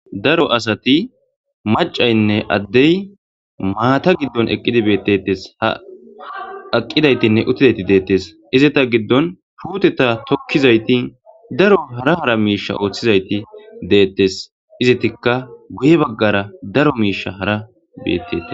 daro asati macaynne addey maata giddon eqqidi beettetes ha aqqidaytinne uttidayti deettes izeta giddon huteta tokkizayti daro hara hara miisha ooththizayti deettes izetikka guye baggara daro miisha hara beetteti